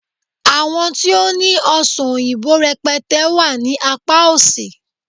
àwọn ti o ni ọsán oyinbo rẹpẹtẹ wà ní apá òsì